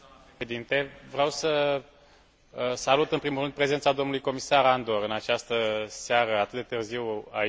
Vreau să salut, în primul rând, prezența domnului Comisar Andor în această seară, atât de târziu, aici, în plen.